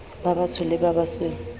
ba batsho le ba basweu